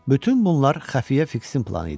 Bütün bunlar xəfiyyə Fiksin planı idi.